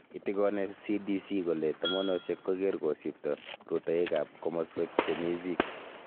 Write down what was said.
Itikone CDC kole tomonosiek koker kosipto rutoitab komoswek chemi Zika.